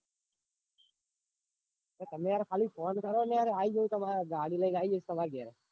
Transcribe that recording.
તે તમે યાર phone કરોને આઈ જાઉં તમારા ગાડી લાઈન આઈ જઈશ તામર ગેર.